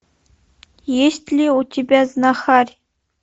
есть ли у тебя знахарь